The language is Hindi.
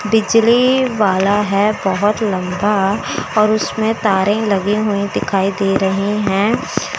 बिजली वाला है बहोत लंबा और उसमें तारे लगे हुए दिखाई दे रहे हैं।